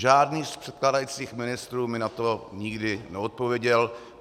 Žádný z předkládajících ministrů mi na to nikdy neodpověděl.